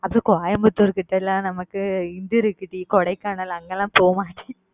அதும் Coimbatore கிட்ட லாம் நமக்கு இது இருக்கு டி Kodaikanal அங்க லாம் போவோமா